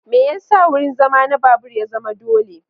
Me yasa wurin zama na babur ya zama dole?